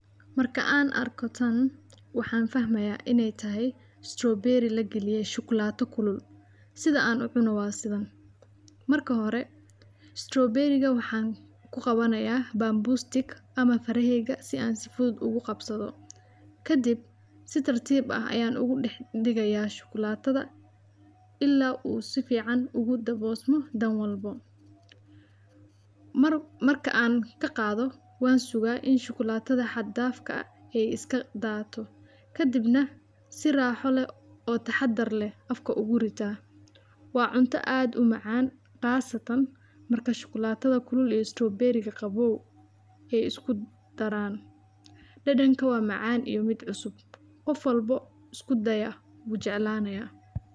Marka aan arkatan, waxaan fahmayaa inay tahay strawberry la geliyay shuklaata kulul sida aan u cunawaadsigan. Marka hore, strawberry-ga waxaan ku qabanayaa bamboo stick ama faraheega si aan sifud ugu qabsado. Ka dib, si tartiib ah ayaan ugu dhigaya shuklaatada illaa uu sifiican ugu daboosmo danwalbo. Mar-marka aan ka qaado, waan sugaa in shuklaatada xaddaafka ah ay iska daato. Ka dibna, si raaxo leh oo taxadar leh afka ugu ritaa. Waa cunto aad u macaan qaasatan marka shuklaatada kulul iyo strawberry-ga qabow ay isku daraan. Dhadhanka waa macaan iyo mid cusub. Qof walbo, isku daya bu jecelanaya.